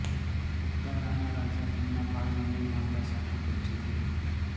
સતારાના રાજા તેમના ભાઈ અને માતા સાથે કબ્જે થયા